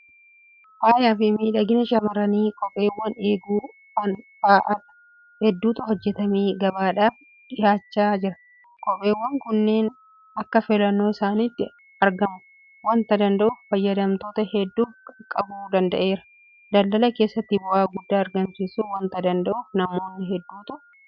Fayyaafi miidhagina shaamarranii kopheewwan eeguu fanda'an hedduutu hojjetamee gabaadhaaf dhiyaachaa jira. Kopheewwan kunneen akka filannoo isaaniitti argamuu waanta danda'uuf fayyadamtoota hedduuf qaqqabuu danda'eera. Daldala keessattis bu'aa guddaa argamsiisuu waanta danda'uuf namoota hedduutu irratti hojjechaa jira.